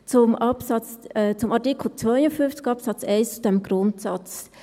Zu Artikel 52 Absatz 1, diesem Grundsatz.